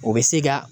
O bɛ se ka